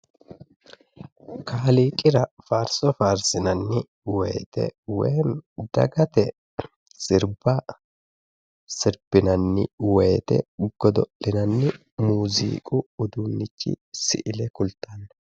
Kaaliiqira faarso faarssinanni woyite woy dagate sirbba sirbbinanni woyite godo'linanni muuziiqu uduunnichi si'ile kultanno.